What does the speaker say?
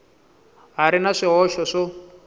ha ri na swihoxo swo